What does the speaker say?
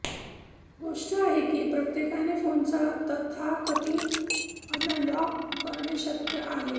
गोष्ट आहे की प्रत्येकाने फोनचा तथाकथित अनलॉक करणे शक्य आहे